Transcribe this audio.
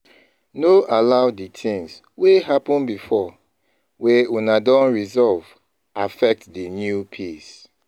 No allow di things wey happen before wey una don resolve, affect di new peace